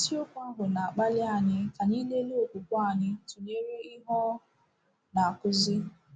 Isiokwu ahụ na-akpali anyị ka anyị lelee okwukwe anyị tụnyere ihe ọ na-akụzi.